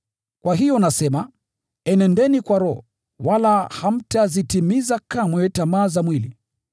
Kwa hiyo nasema, enendeni kwa Roho, wala hamtazitimiza kamwe tamaa za mwili.